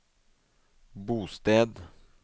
bosted